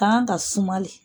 K'an ka suma de.